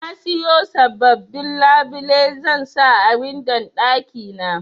Nasiyo sababbin labile zansa a windon ɗaki na.